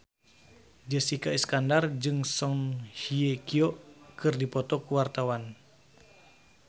Jessica Iskandar jeung Song Hye Kyo keur dipoto ku wartawan